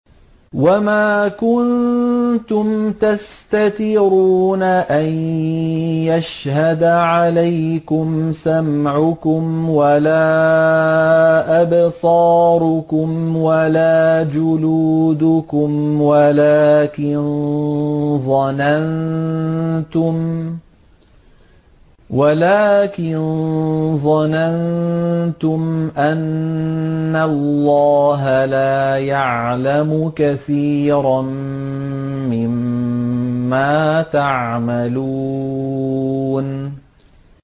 وَمَا كُنتُمْ تَسْتَتِرُونَ أَن يَشْهَدَ عَلَيْكُمْ سَمْعُكُمْ وَلَا أَبْصَارُكُمْ وَلَا جُلُودُكُمْ وَلَٰكِن ظَنَنتُمْ أَنَّ اللَّهَ لَا يَعْلَمُ كَثِيرًا مِّمَّا تَعْمَلُونَ